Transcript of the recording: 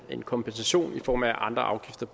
en kompensation i form af at andre afgifter